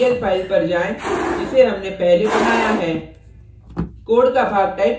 perlarray dot pl file पर जाएँ जिसे हमने पहले बनाया है